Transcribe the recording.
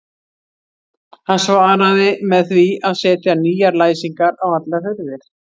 Hann svaraði með því að setja nýjar læsingar á allar hurðir.